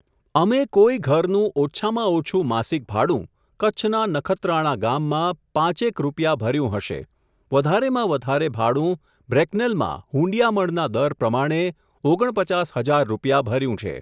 અમે કોઈ ઘરનું ઓછામાં ઓછું માસિક ભાડું, કચ્છના નખત્રાણા ગામમાં, પાંચેક રૂપિયા ભર્યું હશે, વધારેમાં વધારે ભાડું, બ્રેકનેલમાં હૂંડિયામણના દર પ્રમાણે, ઓગણપચાસ હજાર રૂપિયા ભર્યું છે.